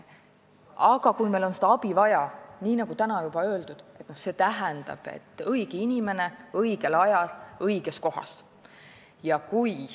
Aga kui on abi vaja, siis nagu täna juba öeldud, see tähendab, et õige inimene on õigel ajal õiges kohas.